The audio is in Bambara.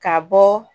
Ka bɔ